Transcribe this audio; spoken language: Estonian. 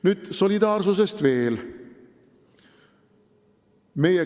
Nüüd solidaarsusest veel.